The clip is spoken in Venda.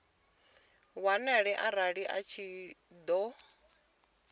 wanale arali a tshi ṱoḓea